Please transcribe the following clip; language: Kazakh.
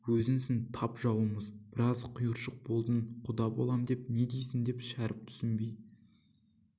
өзіңсің тап жауымыз біраз құйыршық болдың құда болам деп не дейсің деп шәріп түсінбей